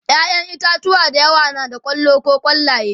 ƴaƴan itatauwa da yawa na da kwallo koh kwallaye